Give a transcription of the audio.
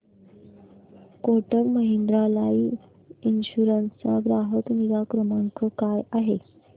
Kotak Mahindra life insurance चा ग्राहक निगा क्रमांक काय आहे